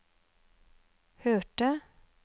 hørte